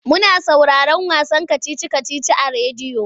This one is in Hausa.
Muna sauraron wasan kacici-kacici a rediyo.